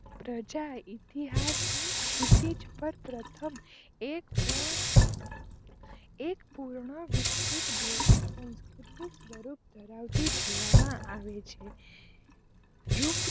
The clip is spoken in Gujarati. પ્રજા ઇતિહાસ ની ક્ષિતિજ પર પ્રથમ એક પૂર્ણ માં વિક્ષિત ભૌતિક સંસ્કૃતિ સ્વરૂપ ધરાવતી જોવામાં આવે છે